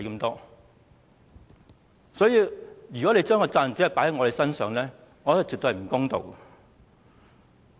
因此，如果將責任只放在我們身上，我認為絕不公道。